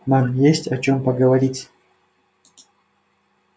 нам есть о чем поговорить